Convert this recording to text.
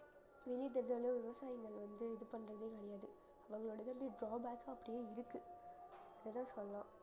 விவசாயங்கள் வந்து இது பண்ணறதே அவங்களோட இது வந்து drawbacks அ அப்படியே இருக்கு